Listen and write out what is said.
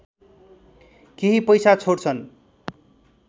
केही पैसा छोड्छन्